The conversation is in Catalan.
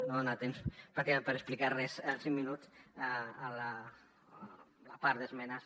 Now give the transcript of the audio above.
no hi ha temps pràcticament per explicar res en cinc minuts de la part d’esmenes